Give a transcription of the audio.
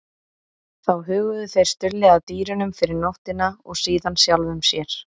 Þá huguðu þeir Stulli að dýrunum fyrir nóttina og síðan sjálfum sér.